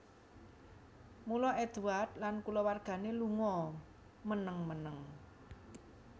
Mula Édward lan kulawargané lunga meneng meneng